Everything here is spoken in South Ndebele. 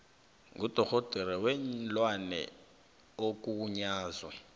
ngudorhodera weenlwana ogunyazwe